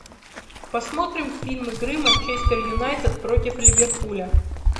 посмотрим фильм игры манчестер юнайтед против ливерпуля